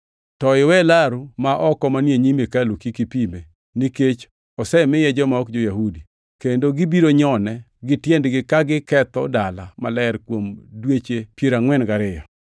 To iwe laru ma oko manie nyim hekalu kik ipime, nikech osemiye joma ok jo-Yahudi, kendo gibiro nyone gi tiendegi ka giketho dala maler kuom dweche piero angʼwen gariyo.